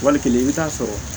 Wali kelen i bɛ t'a sɔrɔ